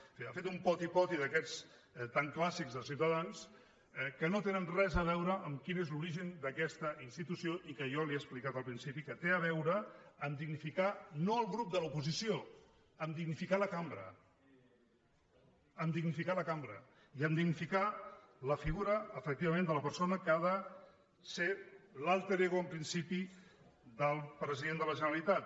és a dir ha fet un poti poti d’aquests tan clàssics de ciutadans que no tenen res a veure amb quin és l’origen d’aquesta institució i que jo li he explicat al principi que té a veure en dignificar no el grup de l’oposició en dignificar la cambra en dignificar la cambra i en dignificar la figura efectivament de la persona que ha de ser l’ego en principi del president de la generalitat